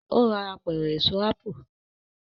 o rà Apẹ̀rẹ̀ Èso ápù